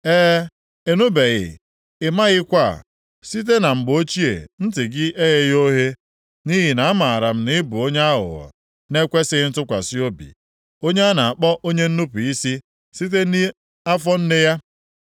E, ị nụbeghị, ị maghịkwa, site na mgbe ochie ntị gị egheghị oghe. Nʼihi na amaara m na ị bụ onye aghụghọ na-ekwesighị ntụkwasị obi, onye a na-akpọ onye nnupu isi site nʼafọ nne ya.